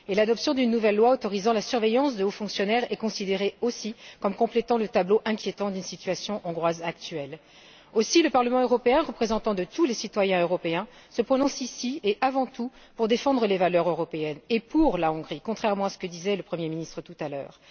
De plus, l'adoption d'une nouvelle loi autorisant la surveillance de hauts fonctionnaires est considérée, aussi, comme complétant le tableau inquiétant de la situation hongroise actuelle. Aussi, le Parlement européen, représentant de tous les citoyens européens, se prononce, ici et avant tout, pour défendre les valeurs européennes et pour la Hongrie, contrairement à ce que disait le Premier ministre tout à l'heure.